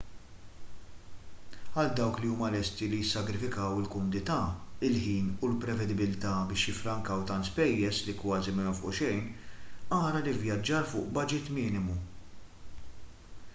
għal dawk li huma lesti li jissagrifikaw il-kumdità il-ħin u l-prevedibbiltà biex jifrrankaw tant spejjeż li kważi ma jonfqu xejn ara l-ivvjaġġar fuq baġit minimu